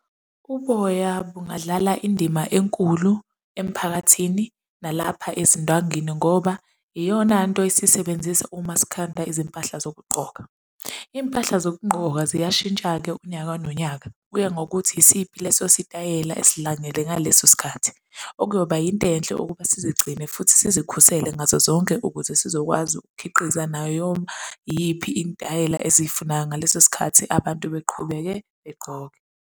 Uboya bungadlala indima enkulu emphakathini, nalapha ezindwangini ngoba iyonanto esiyisebenzisa uma sikhanda izimpahla zokugqoka. Iy'mpahla zokugqoka ziyashintsha-ke unyaka nonyaka, kuya ngokuthi isiphi leso sitayela esidlangele ngaleso sikhathi okuyoba yinto enhle ukuba sizigcine futhi sizikhusele ngazo zonke ukuze sizokwazi ukukhiqiza nanoma yiyiphi intayela eziyifunayo ngaleso sikhathi abantu beqhubeke begqoke.